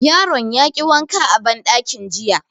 Yaron ya ki wanka a banɗakin jiya